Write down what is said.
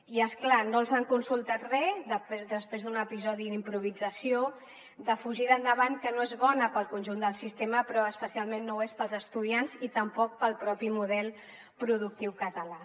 i és clar no els han consultat res després d’un episodi d’improvisació de fugida endavant que no és bona per al conjunt del sistema però especialment no ho és per als estudiants i tampoc per al propi model productiu català